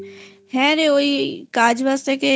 হ্যাঁ রে ওই কাজবাজ থেকে এসে